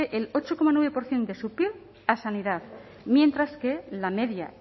el ocho coma nueve por ciento de su pib a sanidad mientras que la media